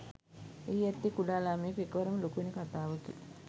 එහි ඇත්තේ කුඩා ළමයෙකු එක්වරම ලොකු වෙන කතාවකි